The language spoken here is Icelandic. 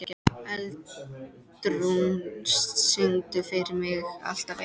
Eldrún, syngdu fyrir mig „Alltaf einn“.